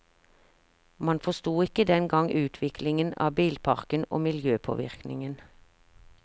Man forsto ikke den gang utviklingen av bilparken og miljøpåvirkningen.